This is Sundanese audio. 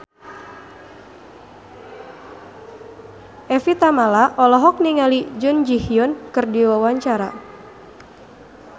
Evie Tamala olohok ningali Jun Ji Hyun keur diwawancara